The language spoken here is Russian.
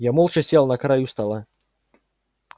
я молча сел на краю стола